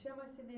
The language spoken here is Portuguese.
Não tinha mais